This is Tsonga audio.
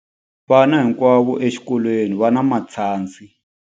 Vana hinkwavo exikolweni va na matshansi.